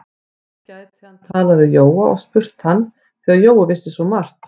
Nú gæti hann talað við Jóa og spurt hann, því að Jói vissi svo margt.